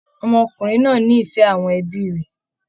Ọmọkùnrin náà ní ìfẹ́ àwọn ẹbí rẹ̀